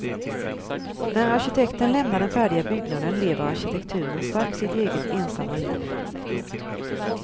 När arkitekten lämnar den färdiga byggnaden lever arkitekturen strax sitt eget ensamma liv. punkt